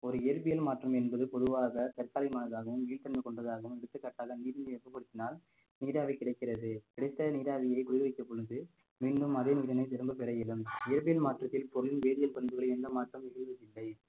ஒரு இயற்பியல் மாற்றம் என்பது பொதுவாக தற்காலிகமானதாகவும் நீள்த்தன்மை கொண்டதாகவும் எடுத்துக்காட்டாக நீர் நிலையை வெப்பப் படுத்தினால் நீராவி கிடைக்கிறது கிடைத்த நீராவியை குளிர்விக்கும் பொழுது மீண்டும் அதே முடிவினை திரும்பப் பெற இயலும் வேதியியல் மாற்றத்தில் பொருள் வேதியியல் பண்புகளில் எந்த மாற்றமும் இல்லை